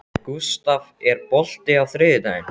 Gústaf, er bolti á þriðjudaginn?